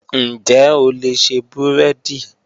Ǹjẹ́ o lè ṣe búrẹ́dì?.